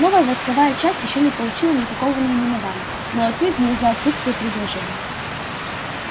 новая войсковая часть ещё не получила никакого наименования но отнюдь не из-за отсутствия предложений